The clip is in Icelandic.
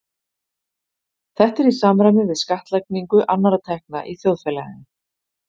Þetta er í samræmi við skattlagningu annarra tekna í þjóðfélaginu.